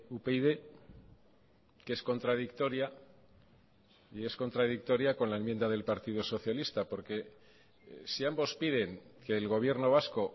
upyd que es contradictoria y es contradictoria con la enmienda del partido socialista porque si ambos piden que el gobierno vasco